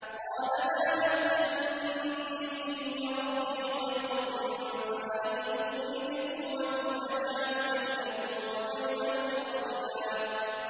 قَالَ مَا مَكَّنِّي فِيهِ رَبِّي خَيْرٌ فَأَعِينُونِي بِقُوَّةٍ أَجْعَلْ بَيْنَكُمْ وَبَيْنَهُمْ رَدْمًا